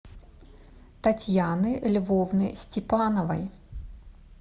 татьяны львовны степановой